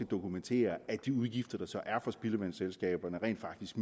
dokumentere at de udgifter der så er for spildevandsselskaberne rent faktisk